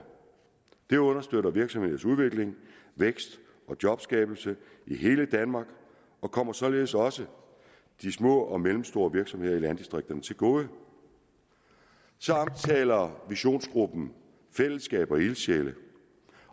det understøtter virksomhedernes udvikling vækst og jobskabelse i hele danmark og kommer således også de små og mellemstore virksomheder i landdistrikterne til gode så omtaler visionsgruppen fællesskab og ildsjæle